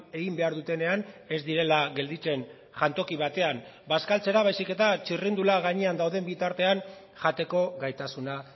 egin behar dutenean ez direla gelditzen jantoki batean bazkaltzera baizik eta txirrindula gainean dauden bitartean jateko gaitasuna